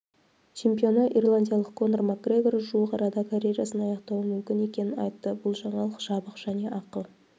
чемпионы ирландиялық конор макгрегор жуық арада карьерасын аяқтауы мүмкін екенін айтты бұл жаңалық жабық және ақы